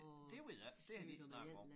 Det ved jeg ikke det har de ikke snakket om